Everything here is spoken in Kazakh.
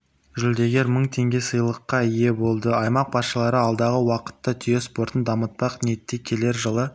жүлдегер мың теңге сыйлыққа ие болды аймақ басшылары алдағы уақытта түйе спортын дамытпақ ниетте келер жылы